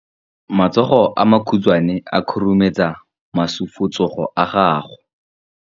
Matsogo a makhutshwane a khurumetsa masufutsogo a gago.